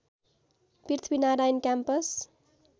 Prithvinarayan campus